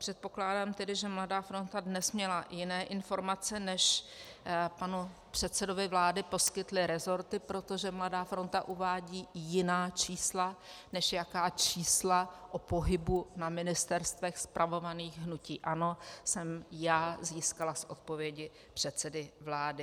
Předpokládám tedy, že Mladá fronta DNES měla jiné informace, než panu předsedovi vlády poskytly rezorty, protože Mladá fronta uvádí jiná čísla, než jaká čísla o pohybu na ministerstvech spravovaných hnutím ANO jsem já získala z odpovědi předsedy vlády.